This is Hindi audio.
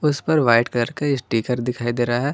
उस पर वाइट कलर का स्टिकर दिखाई दे रहा है।